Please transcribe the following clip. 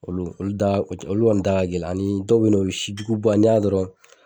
Olu olu da olu kɔni da ka gɛlɛn ani dɔw bɛ ye nɔ o ye sijuguba n'i y'a dɔrɔn